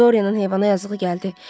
Dorianın heyvana yazığı gəldi.